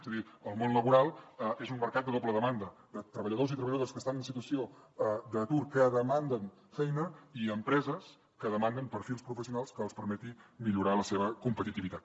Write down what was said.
és a dir el món laboral és un mercat de doble demanda de treballadors i treballadores que estan en situació d’atur que demanen feina i empreses que demanen perfils professionals que els permetin millorar la seva competitivitat